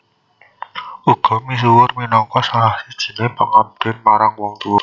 Uga misuwur minangka salah sijiné pangabden marang wong tua